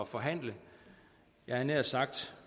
forhandle jeg havde nær sagt